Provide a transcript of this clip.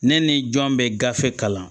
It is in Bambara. Ne ni jɔn bɛ gafe kalan